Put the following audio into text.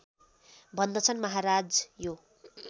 भन्दछन् महाराज यो